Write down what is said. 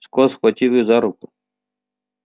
скотт схватил его за руку